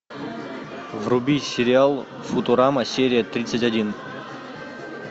вруби сериал футурама серия тридцать один